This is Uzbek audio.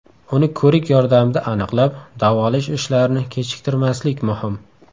Uni ko‘rik yordamida aniqlab, davolash ishlarini kechiktirmaslik muhim.